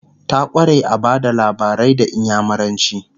ta kware a Bada labarai da inyamuranci